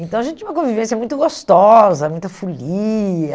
Então a gente tinha uma convivência muito gostosa, muita folia.